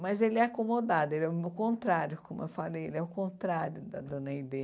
Mas ele é acomodado, ele é o contrário, como eu falei, ele é o contrário da Dona Aidê.